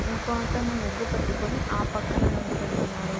ఇంకో అతను ముగ్గు పట్టుకొని ఆ పక్కన నిల్చుని ఉన్నాడు.